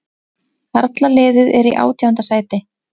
Karlaliðið er í átjánda sæti